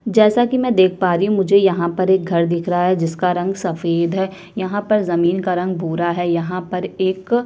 जैसा की मै देख पा रही हु मुझे यहाँ पर एक घर दिख रहा है जिसका रंग सफेद है यहाँ पर जमीन का रंग भूरा है यहाँ पर एक--